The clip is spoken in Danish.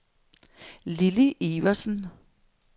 Lilly Iversen